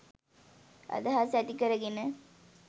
අදහස් ඇති කර ගෙන